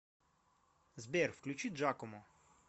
сбер включи джакомо